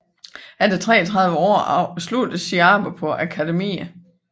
Efter 33 år sluttede sit arbejde på Akademiet